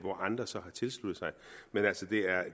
andre så har tilsluttet sig men